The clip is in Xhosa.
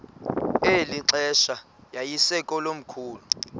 eli xesha yayisekomkhulu